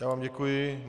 Já vám děkuji.